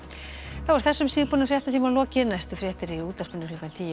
þá er þessum síðbúna fréttatíma lokið næstu fréttir eru í útvarpinu klukkan tíu